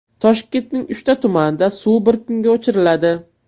Toshkentning uchta tumanida suv bir kunga o‘chiriladi.